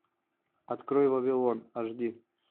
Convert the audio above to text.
открой вавилон аш ди